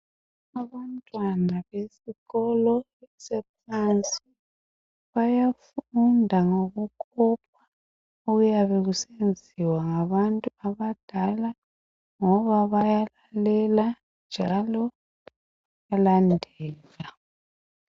Abantwana besikolo saphansi bayafunda ngokukopa okuyabe kusenziwa ngabantu abadala ngoba bayalalela njalo bayalandela